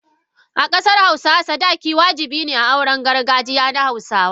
a kasar Hausawa, sadaki wajabi ne a auren gargajiya na hausawa.